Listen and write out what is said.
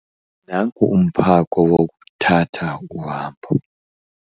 Nangu umphako wokuthatha uhambo.